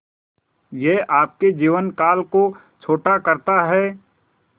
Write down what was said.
यह आपके जीवन काल को छोटा करता है